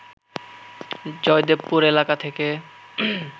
জয়দেবপুর এলাকা থেকে